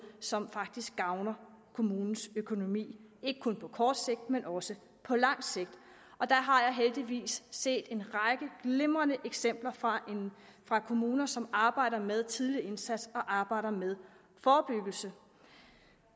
som faktisk også gavner kommunens økonomi ikke kun på kort sigt men også på lang sigt og der har jeg heldigvis set en række glimrende eksempler fra fra kommuner som arbejder med tidlig indsats og arbejder med forebyggelse